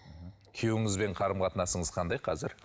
мхм күйеуіңізбен қарым қатынасыңыз қандай қазір